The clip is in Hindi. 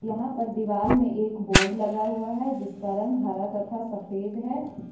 यहां पर दीवाल में एक बोर्ड लगा हुआ है जिसका रंग हरा तथा सफेद है।